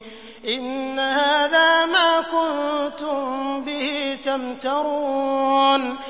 إِنَّ هَٰذَا مَا كُنتُم بِهِ تَمْتَرُونَ